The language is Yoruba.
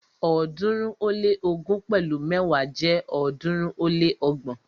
ọ̀ọ́dúnrún ó lé ógún pẹ̀lu mẹ́wa jẹ́ ọ̀ọ́dúnrún ó lé ọgbọ̀n.